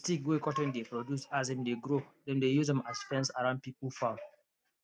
d stick wey cotton dey produce as im dey grow dem dey use am as fence around pipo farm